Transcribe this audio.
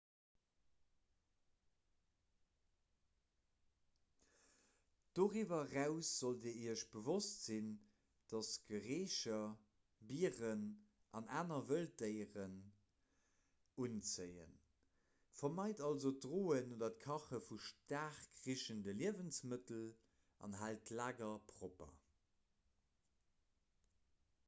doriwwer eraus sollt dir iech bewosst sinn datt gerécher bieren an aner wëlddéieren unzéien vermeit also d'droen oder kache vu staark richende liewensmëttel an haalt d'lager propper